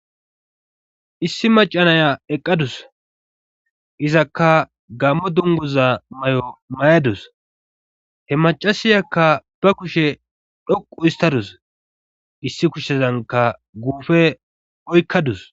Issi macanaya eqqadus izakka gammo dunguza may7o may7adus he macasiyakka ba kushe dhoqu istadus issi kushsezanka guufe oykkadus.